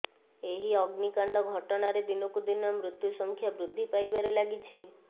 ଏହି ଅଗ୍ନିକାଣ୍ଡ ଘଟଣାରେ ଦିନକୁ ଦିନ ମୃତ୍ୟୁ ସଂଖ୍ୟା ବୃଦ୍ଧି ପାଇବାରେ ଲାଗିଛି